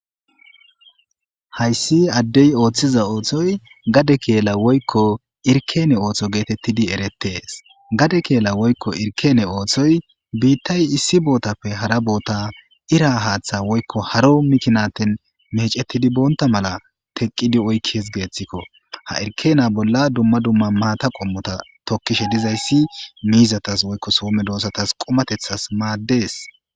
Haysi adey othiza othoy gade kela woyko irken otho getetidi eretes gade kela woyko irken othoy bitay issi botape hara bota ira hatha woyko haro mikinaten mecetidi bonta mala teqidi oykese gethiko ba' kela bolla dumma dumma mata qomota tokishe dizays mizatas woyko so medosatas qumatethas mades